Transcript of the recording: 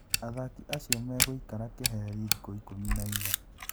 Athaki acio megũikara keheri thikũ ikũmi nainya".